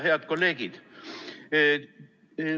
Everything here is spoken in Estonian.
Head kolleegid!